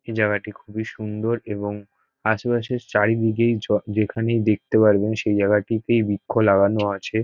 এই জায়গাটি খুবই সুন্দর এবং আশেপাশের চারিদিকেই য যেখানেই দেখতে পারি সেই জায়গাটিতে বৃক্ষ লাগানো আছে ।